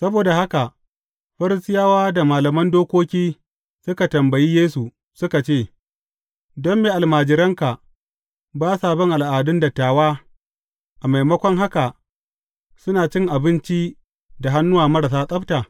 Saboda haka, Farisiyawa da malaman dokoki suka tambayi Yesu, suka ce, Don me almajiranka ba sa bin al’adun dattawa, a maimakon haka suna cin abinci da hannuwa marasa tsabta?